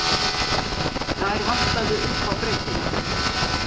Þær vantaði upp á breiddina.